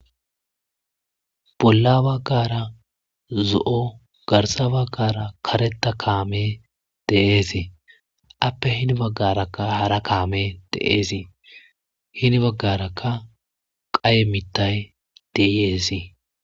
bolla baggara zo7o garsa baggara kareta kaame deeesii appe hini baggarakka haara kaame deeesii hini baggarakka qaye mittay deieesii